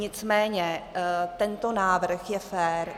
Nicméně tento návrh je fér.